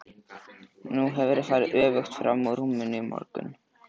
Nú hefurðu farið öfugt frammúr rúminu í morgun!